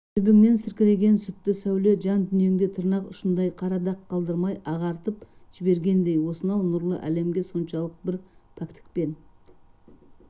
төбеңнен сіркіреген сүті сәуле жан-дүниеңде тырнақ ұшындай қара дақ қалдырмай ағартып жібергендей осынау нұрлы әлемге соншалық бір пәктікпен